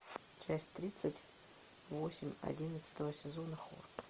часть тридцать восемь одиннадцатого сезона хор